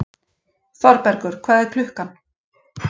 Þorbergur, hvað er klukkan?